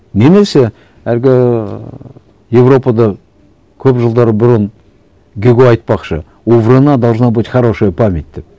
немесе әлгі еуропада көп жылдар бұрын гюго айтпақшы у вруна должна быть хорошая память деп